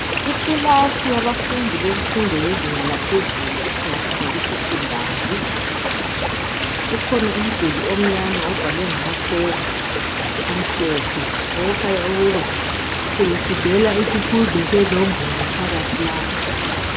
Ikilasi yabafundi bemfundo yezinga laphezulu esingathi ngabe sekhendari, kukhona umduli omnyama obhalwe ngamatshoko amhlophe okukhanya ukuba bebefundela isifundo senombolo phakathi lapha.